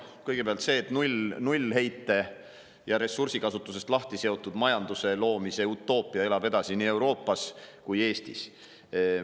Kõigepealt see, et nullheite ja ressursikasutusest lahti seotud majanduse loomise utoopia elab edasi nii Euroopas kui ka Eestis.